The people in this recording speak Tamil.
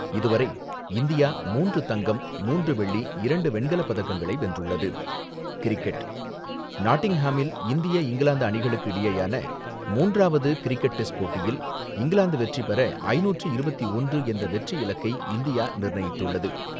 இதுவரை இந்தியா மூன்று தங்கம், மூன்று வெள்ளி, இரண்டு வெண்கலப்பதக்கங்களை வென்றுள்ளது. நாட்டிங்ஹாமில், இந்திய இங்கிலாந்து அணிகளுக்கு இடையேயான மூன்றவாது கிரிக்கெட் டெஸ்ட் போட்டியில், இங்கிலாந்து வெற்றிபெற ஐந்நூற்று இருபத்து ஒன்று என்ற வெற்றி இலக்கை இந்தியா நிர்ணயித்துள்ளது.